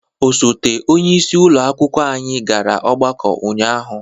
Osote onyeisi ụlọ akwụkwọ anyị gara ọgbakọ ụnyaahụ.